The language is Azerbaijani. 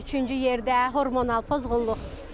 Üçüncü yerdə hormonal pozğunluq.